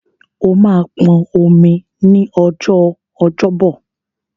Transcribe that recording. O máa pọn omi ní ọjọ́ Ọjọ́bọ̀.